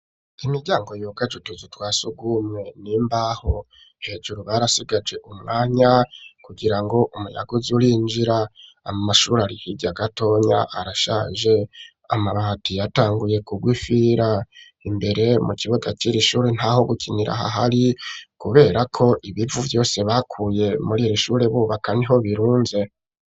Imiryango yugaje utuzu twa sugumwe n'imbaho, hejuru barasigaje umwanya kugira ngo umuyaga uze urinjira, amashuri ari hirya gatonya arashaje, amabati yatanguye kurwa imfira, imbere mu kibuga c'iri shuri ntaho gukinira hahari kuberako ibivu vyose bakuye muri iri shuri bubaka niho birunze.